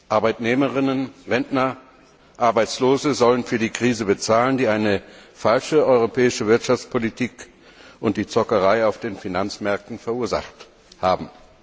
Arbeitnehmerinnen, Arbeitnehmer, Rentner und Arbeitslose sollen für die Krise bezahlen, die eine falsche europäische Wirtschaftspolitik und die Zockerei auf den Finanzmärkten verursacht haben.